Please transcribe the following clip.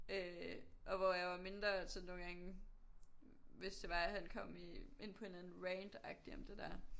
Øh og hvor jeg var mindre så nogle gange hvis det var at han kom i ind på en eller anden rant agtig om det der